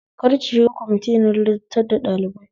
Kar ki shiga kwamiti na ladabtar da ɗalibai